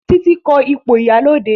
Titi ko ipo ìyálóde